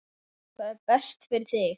Það er best fyrir þig.